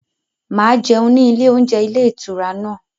Màá jẹun ní ilé oúnjẹ ilé ìtura náà.